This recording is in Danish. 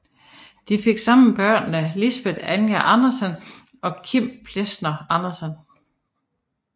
De fik sammen børnene Lisbet Anja Andersen og Kim Plesner Andersen